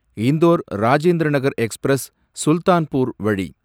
Indore Rajendranagar express Sultanpur வழி